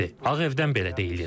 Ağ Evdən belə deyilir.